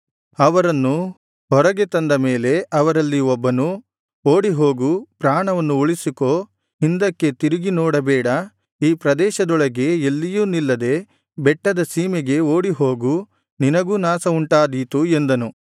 ಅವರನ್ನು ಹೊರಗೆ ತಂದ ಮೇಲೆ ಅವರಲ್ಲಿ ಒಬ್ಬನು ಓಡಿಹೋಗು ಪ್ರಾಣವನ್ನು ಉಳಿಸಿಕೋ ಹಿಂದಕ್ಕೆ ತಿರುಗಿ ನೋಡಬೇಡ ಈ ಪ್ರದೇಶದೊಳಗೆ ಎಲ್ಲಿಯೂ ನಿಲ್ಲದೆ ಬೆಟ್ಟದ ಸೀಮೆಗೆ ಓಡಿಹೋಗು ನಿನಗೂ ನಾಶವುಂಟಾದೀತು ಎಂದನು